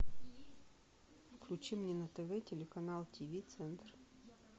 включи мне на тв телеканал тиви центр